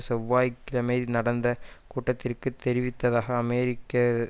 செவ்வாய் கிழமை நடந்த கூட்டத்தில் தெரிவித்ததக அமெரிக்க